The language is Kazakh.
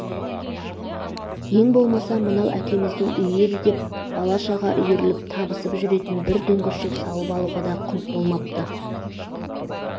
ең болмаса мынау әкеміздің үйі еді деп бала-шаға үйіріліп табысып жүретін бір дүңгіршек салып алуға да құнт болмапты